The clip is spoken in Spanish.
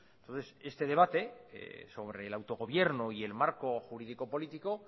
entonces este debate sobre el autogobierno y el marco jurídico político